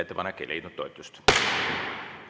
Ettepanek ei leidnud toetust.